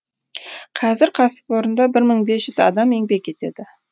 қазір кәсіпорында бір мың бес жүз адам еңбек етеді